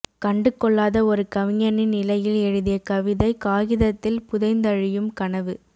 கண்டு கொள்ளாத ஒரு கவிஞனின் நிலையில் எழுதிய கவிதை காகிதத்தில் புதைந்தழியும் கனவு